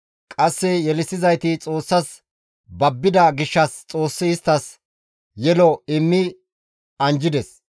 Qasse yelissizayti Xoossas babbida gishshas Xoossi isttas yelo immi anjjides.